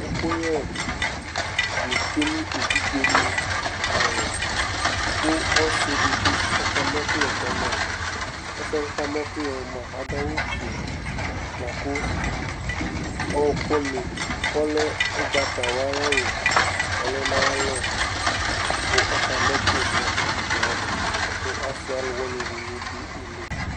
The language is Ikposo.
ɛkʊ yɛ nɩ tsue nʊ evidze nɩ alɔ, kʊ ɔsi dɩbɩ kama ɛkuyɛ kama, ɔsi yɛ adʊ awu fue, kʊ ɔkʊ ugbatawla lɛ nʊ ayalɔ kʊ ɔkama ɛkʊyɛ kʊ evidzewanɩ, kʊ asi alʊwɩnɩ dɩnɩ bɩ dʊ ile